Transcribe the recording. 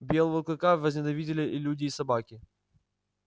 белого клыка возненавидели и люди и собаки